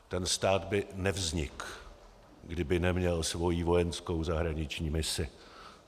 Ten stát by nevznikl, kdyby neměl svou vojenskou zahraniční misi.